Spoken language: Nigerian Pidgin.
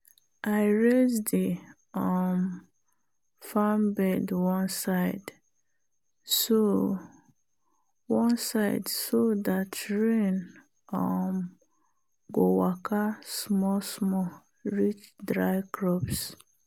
i raise the um farm bed one side so one side so dat rain um go waka small-small reach dry crops.